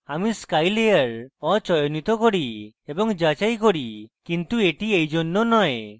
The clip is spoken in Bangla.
আমি sky layer অচয়নিত করি এবং যাচাই করি কিন্তু এটি এই জন্য নয়